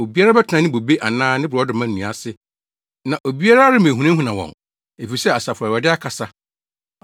Obiara bɛtena ne bobe anaa ne borɔdɔma nnua ase, na obiara remmehunahuna wɔn, efisɛ, Asafo Awurade akasa.